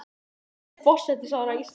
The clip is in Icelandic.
Hún er forsætisráðherra Íslands.